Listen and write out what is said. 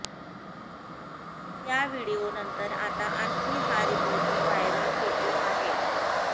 त्या व्हिडीओनंतर आता आणखी हा रिपोर्टर व्हायरल होतो आहे